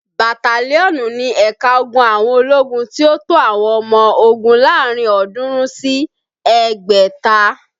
Bataliọnú ni ẹ̀ka ogun àwọn ológun tí ó tó àwọn ọmọ ogún láàárín ọ̀ọ́dúnrún sí ẹgbẹ̀ta